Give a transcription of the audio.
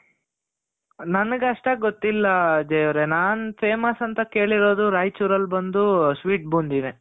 ನನಗ್ ಅಷ್ಟಾಗಿ ಗೊತ್ತಿಲ್ಲ ಅಜಯ್ ಅವ್ರೆ ನಾನು famous ಅಂತ ಕೇಳಿರೋದು, ರಾಯಚೂರ್ ಅಲ್ಲಿ ಬಂದು sweet ಬೂಂದಿನೆ .